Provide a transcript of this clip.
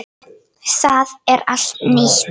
Það er allt nýtt.